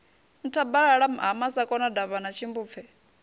nthabalala ha masakona davhana tshimbupfe